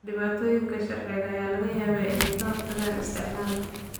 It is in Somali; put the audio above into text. Dhibaatooyinka sharciga ayaa laga yaabaa inay ka hortagaan isticmaalka.